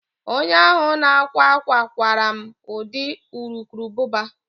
Onye ahụ na-akwa akwa kwara m ụdị urukurubụba